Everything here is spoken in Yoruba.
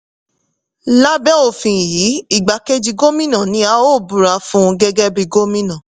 lábẹ́ òfin yìí igbá kéji gómìnà ni a ó búra fún gẹ́gẹ́ bí gómìnà.